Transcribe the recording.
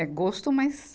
É gosto, mas...